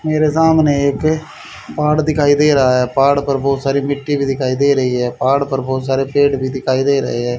मेरे सामने एक पहाड़ दिखाई दे रहा है पहाड़ पर बहुत सारी मिट्टी भी दिखाई दे रही है पहाड़ पर बहुत सारे पेड़ भी दिखाई दे रहे हैं।